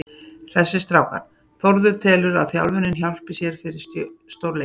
Hressir strákar: Þórður telur að þjálfunin hjálpi sér fyrir stórleikinn.